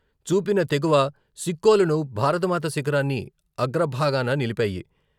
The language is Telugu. చూపిన తెగువ సిక్కోలును భారతమాత శిఖరాన్ని అగ్రభాగాన నిలిపాయి.